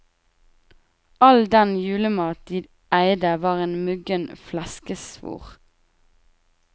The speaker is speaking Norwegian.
All den julemat de eide var en muggen fleskesvor.